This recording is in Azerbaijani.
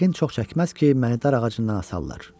"Yəqin çox çəkməz ki, məni dar ağacından asarlar.